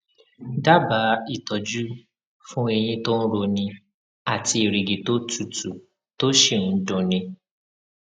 dábàá ìtọjú fún eyín tó ń roni àti erìgì tó tutù tó sì ń dun ni